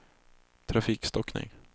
trafikstockning